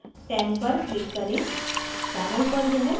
hydrogen number 10 पर click करें